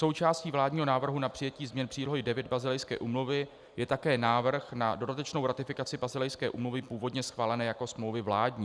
Součástí vládního návrhu na přijetí změn přílohy IX Basilejské úmluvy je také návrh na dodatečnou ratifikaci Basilejské úmluvy, původně schválené jako smlouvy vládní.